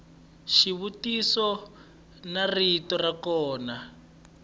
xivutiso ni rito ra kona